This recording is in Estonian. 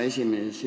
Hea esimees!